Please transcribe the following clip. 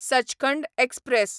Sachkhand express